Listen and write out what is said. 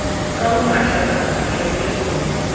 ke ho mathakaka majwaleng o